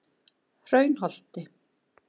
Hraunholti